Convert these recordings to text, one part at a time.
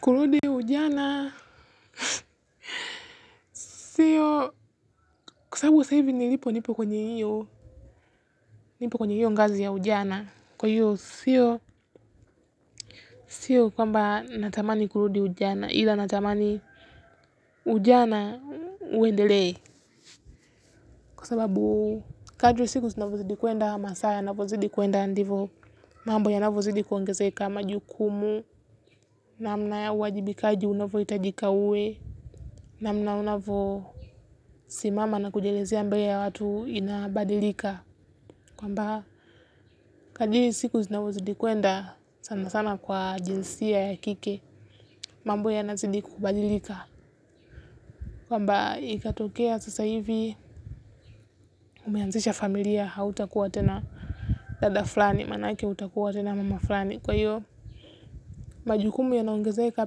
Kurudi ujana sio kwa sababu sasa hivi nilipo nipo kwenye hiyo nipo kwenye hiyo ngazi ya ujana kwa hivyo sio sio kwamba natamani kurudi ujana ila natamani ujana uendelee. Kwa sababu kadri siku zinavyozidi kwenda masaa yavyozidi kwenda ndivyo mambo yanavyozidi kuongezeka majukumu namna ya uwajibikaji unavyohitajika uwe. Namna unavyo simama na kujelizea mbele ya watu inabadilika. Kwamba kadri siku zinavozidi kwenda sana sana kwa jinsia ya kike. Mambo yanazidi kubadilika kwamba ikatokea sasa hivi umeanzisha familia hautakuwa tena dada fulani maana yake utakuwa tena mama fulani kwa hivyo majukumu yanaongezeka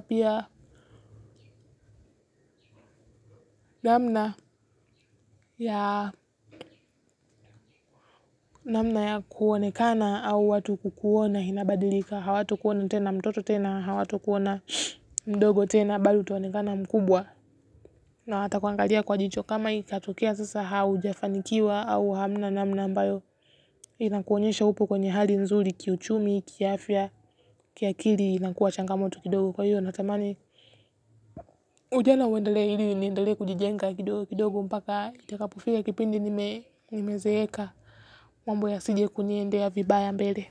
pia namna ya namna ya kuonekana au watu kukuona inabadilika hawatakuona tena mtoto tena hawatakuona mdogo tena bali utaonekana mkubwa. Na hawatakuangalia kwa jicho kama ikatokea sasa haujafanikiwa au hamna namna ambayo inakuonyesha upo kwenye hali nzuri kiuchumi kiafya kiakili inakuwa changamoto kidogo kwa hiyo natamani ujana uendelee ili niendelee kujijenga kidogo kidogo mpaka itakapofika kipindi nimezeeka mambo yasije kuniendea vibaya mbele.